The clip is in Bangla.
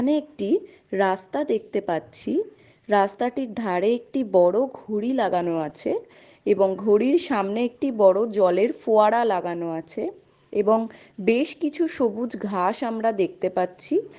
আমি একটি রাস্তা দেখতে পাচ্ছি রাস্তাটির ধরে একটি বড়ো ঘড়ি লাগানো আছে এবং ঘড়ির সামনে একটি বড়ো জলের ফোয়ারা লাগানো আছে এবং বেশ কিছু সবুজ ঘাস আমরা দেখতে পাচ্ছি ।